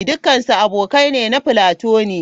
Dukansu abokai ne na platonic.